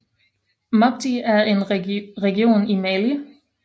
Mopti er en region i Mali